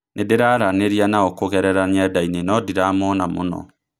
Nĩndĩraranĩria nao kũgerera nyendainĩ no ndiramona mũno